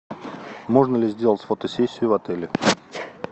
можно ли сделать фотосессию в отеле